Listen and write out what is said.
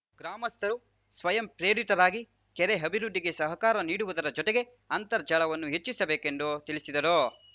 ಗ್ರಾಮಸ್ಥರು ಸ್ವಯಂ ಪ್ರೇರಿತರಾಗಿ ಕೆರೆ ಅಭಿವೃದ್ಧಿಗೆ ಸಹಕಾರ ನೀಡುವುದರ ಜೊತೆಗೆ ಅಂತರ್ಜಲವನ್ನು ಹೆಚ್ಚಿಸಬೇಕೆಂದು ತಿಳಿಸಿದರು